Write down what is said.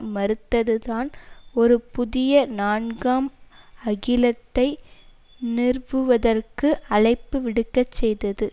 மறுத்ததுதான் ஒரு புதிய நான்காம் அகிலத்தை நிறுவுவதற்கு அழைப்பு விடுக்கச் செய்தது